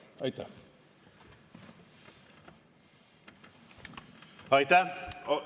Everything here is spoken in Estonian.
Aitäh!